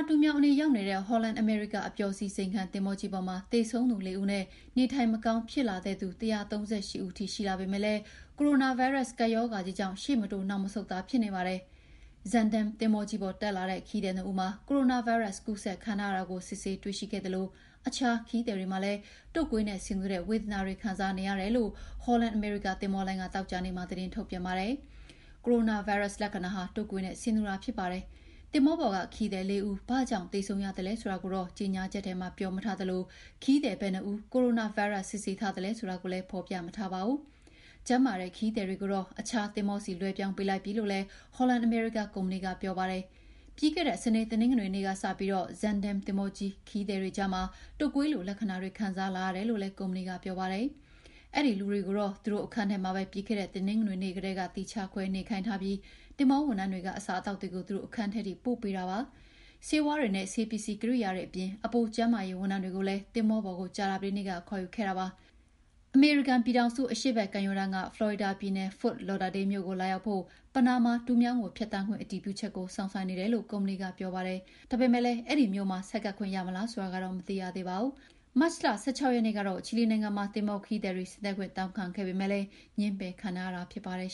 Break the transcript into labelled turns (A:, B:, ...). A: တူးမြောင်းအနီး ရောက်နေတဲ့ Holland America အပျော်စီး ဇိမ်ခံသင်္ဘောကြီးပေါ်မှာ သေဆုံးသူ ၄ ဦးနဲ့ နေထိုင်မကောင်း ဖြစ်လာတဲ့သူ ၁၃၈ ဦးထိ ရှိလာပေမယ့်လည်း ကိုရိုနာဗိုင်းရပ်စ် ကပ်ရောဂါကြီးကြောင့် ရှေ့မတိုး နောက်မဆုတ်သာ ဖြစ်နေပါတယ်။ Zaandam သင်္ဘောပေါ် တက်လာတဲ့ ခရီးသည် ၂ ဦးမှာ ကိုရိုနာဗိုင်းရပ်စ် ကူးစက်ခံထားရတာကို စစ်ဆေးတွေ့ရှိခဲ့သလို အခြားခရီးသည်တွေလည်း တုပ်ကွေးနဲ့ဆင်တူတဲ့ ဝေဒနာတွေ ခံစားနေရတယ်လို့ Holland America သင်္ဘောလိုင်းက သောကြာနေ့မှာ သတင်းထုတ်ပြန်ပါတယ်။ ကိုရိုနာဗိုင်းရပ်စ် လက္ခဏာဟာ တုပ်ကွေးနဲ့ ဆင်တူပါတယ်။ သင်္ဘောပေါ်က ခရီးသည် ၄ ဦး ဘာကြောင့်သေဆုံးရသလဲ ဆိုတာကိုတော့ ကြေညာချက်ထဲမှာ ပြောမထားသလို ခရီးသည် ဘယ်နှစ်ဦးကို ကိုရိုနာဗိုင်းရပ်စ် စစ်ဆေးထားသလဲ ဆိုတာကိုလည်း ဖော်ပြမထားပါဘူး။ ကျန်းမာတဲ့ ခရီးသည်တွေကိုတော့ အခြားသင်္ဘောဆီ လွှဲပြောင်းပေးလိုက်ပြီလို့လည်း Holland American ကုမ္ပဏီက ပြောပါတယ်။ ပြီးခဲ့တဲ့ စနေ တနင်္ဂနွေနေ့ကစပြီး Zaandam သင်္ဘောခရီးသည်တွေကြားမှာ တုပ်ကွေးလို လက္ခဏာတွေ ခံစားလာရတယ်လို့လည်း ကုမ္ပဏီက ပြောပါတယ်။ အဲဒီလူတွေကိုတော့ သူတို့အခန်းထဲမှာပဲ ပြီးခဲ့တဲ့ တနင်္ဂနွေနေ့ကတည်းက သီးခြားခွဲနေခိုင်းထားပြီး သင်္ဘောဝန်ထမ်းတွေက အစားအသောက်တွေကို သူတို့အခန်းထဲထိ ပို့ပေးထားတယ်လို့ ဆိုပါတယ်။ ဆေးဝါးတွေနဲ့ ဆေးပစ္စည်းကိရိယာတွေအပြင် အပို ကျန်းမာရေးဝန်ထမ်းတွေကိုလည်း သင်္ဘောပေါ်ကို ကြာသပတေးနေ့က ခေါ်ယူခဲ့တာပါ။ အမေရိကန်ပြည်ထောင်စု အရှေ့ဘက်ကမ်းရိုးတန်းက ဖလော်ရီဒါပြည်နယ် Fort Lauderdale မြို့ကို လာရောက်ဖို့ ပနားမားတူးမြောင်းကို ဖြတ်သန်းခွင့် အတည်ပြုချက်ကို စောင့်ဆိုင်းနေတယ်လို့ ကုမ္ပဏီက ပြောပါတယ်။ ဒါပေမယ့်လည်း Fort Lauderdale မြို့မှာ ဆိုက်ကပ်ခွင့်ရမလား ဆိုတာကတော့ မသိရသေးပါဘူး။ မတ်လ ၁၆ ရက်နေ့ကတော့ ချီလီနိုင်ငံမှာ သင်္ဘောခရီးသည်တွေ ဆင်းသက်ခွင့် တောင်းခံခဲ့ပေမယ့် ငြင်းပယ်ခံခဲ့ရတာ ဖြစ်ပါတယ်